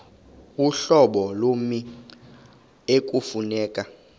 uhlobo lommi ekufuneka